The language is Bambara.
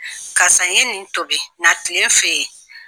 Karisa ye nin tobi na tile n fɛ yen.